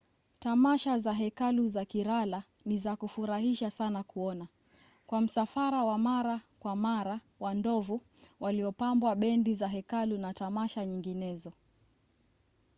tamasha za hekalu za kerala ni za kufurahisha sana kuona kwa msafara wa mara kwa mara wa ndovu waliopambwa bendi za hekalu na tamasha nyinginezo